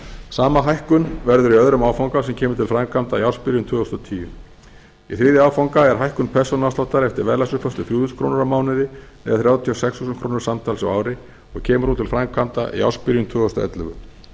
sama hækkun verður í öðrum áfanga sem kemur til framkvæmda í ársbyrjun tvö þúsund og tíu í þriðja áfanga er hækkun persónuafsláttar eftir verðlagsuppfærslu þrjú þúsund krónur á mánuði eða þrjátíu og sex þúsund krónur samtals á ári og kemur hún til framkvæmda í ársbyrjun tvö þúsund og ellefu